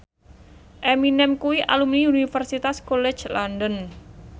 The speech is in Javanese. Eminem kuwi alumni Universitas College London